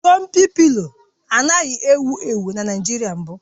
Jọmpị pịlo anaghị ewu ewu na Naịjirịa mbụ